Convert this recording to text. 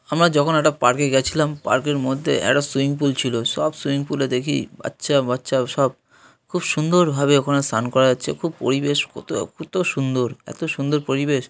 আমরা যখন একটা পার্ক -এ গেছিলাম। পার্ক এর মধ্যে সুইমিং পুল ছিল। সব সুইমিং পুল -এ দেখি বাচ্চা বাচ্চা সব খুব সুন্দরভাবে ওখানে সান করা হচ্ছে। খুব পরিবেশ কত কত সুন্দর এত সুন্দর পরিবেশ।